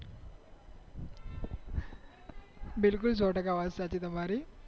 બિલકુલ સો ટકા વાત સાચી તમારી